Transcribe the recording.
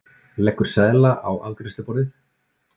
Leggur seðla á afgreiðsluborðið.